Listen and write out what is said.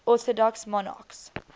orthodox monarchs